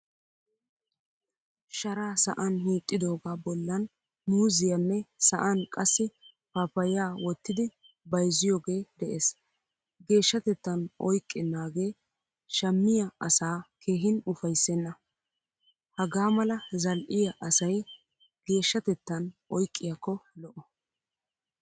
Shara sa'an hiixidoga bollan muuzziyanne sa'ani qassi pappaya wottidi bayzziyoge de'ees. Geeshshatettan oyqqenage shammiyaa asaa keehin ufayssenna. Hagamala zal'iyaa asay geeshshatettan oyqqiyakko lo'o.